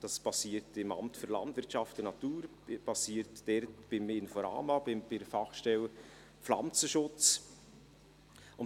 Das geschieht im Amt für Landwirtschaft und Natur (LANAT), bei der Fachstelle Pflanzenschutz des Inforamas.